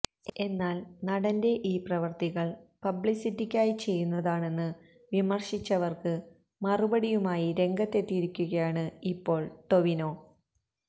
എന്നാൽ നടന്റെ ഈ പ്രവർത്തികൾ പബ്ലിസിറ്റിക്കായി ചെയ്യുന്നതാണന്ന് വിമർശിച്ചവർക്ക് മറുപടിയുമായി രംഗത്തെത്തിയിരിക്കുകയാണ് ഇപ്പോൾ ടൊവിനോ